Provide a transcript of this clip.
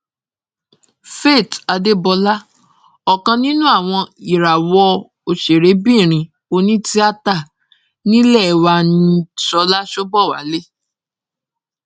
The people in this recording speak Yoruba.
faith adébọlá ọ̀kan nínú àwọn ìràwọ òṣèrébìnrin onítìátà nílẹ̀ wa ni ṣọlá ṣobowalé